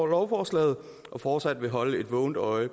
lovforslaget og fortsat vil holde et vågent øje